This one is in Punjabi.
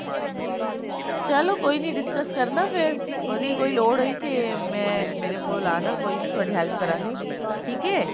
ਚਲੋ ਕੋਈ ਨੀ discuss ਕਰਨਾ ਫੇਰ ਕਦੇ ਕੋਈ ਲੋੜ ਹੋਈ ਤੇ ਮੈਂ ਮੇਰੇ ਕੋਲ ਆਣਾ ਕੋਈ ਨੀ ਮੈਂ ਤੁਹਾਡੀ help ਕਰਾਂਗੀ ਠੀਕ ਐ